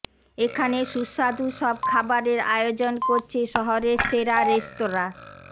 এখানে সুস্বাদু সব খাবারের আয়োজন করছে শহরের সেরা রেস্তরা